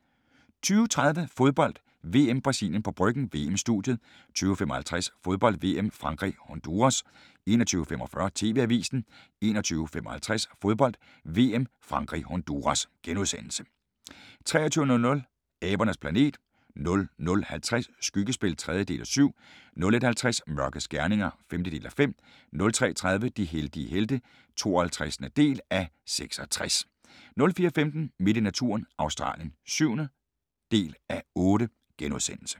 20:30: Fodbold: VM - Brasilien på Bryggen – VM-studiet 20:55: Fodbold: VM - Frankrig-Honduras 21:45: TV-avisen 21:55: Fodbold: VM - Frankrig-Honduras * 23:00: Abernes planet 00:50: Skyggespil (3:7) 01:50: Mørkets gerninger (5:5) 03:30: De heldige helte (52:66) 04:15: Midt i naturen – Australien (7:8)*